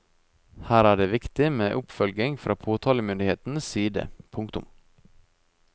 Her er det viktig med oppfølging fra påtalemyndighetens side. punktum